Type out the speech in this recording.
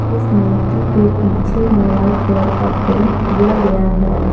इस मूर्ति के पीछे में वाइट कलर का पेंट किया गया है।